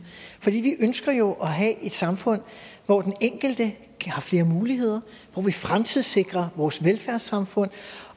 vi ønsker jo at have et samfund hvor den enkelte har flere muligheder hvor vi fremtidssikrer vores velfærdssamfund